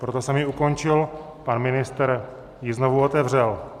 Proto jsem ji ukončil, pan ministr ji znovu otevřel.